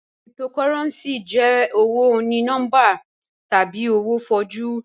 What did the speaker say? Cryptocurrency jẹ owo oní-nọmbà tabi owo fọ̀jú